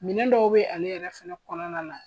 Minɛn dɔw be ale yɛrɛ fɛnɛ kɔnɔna na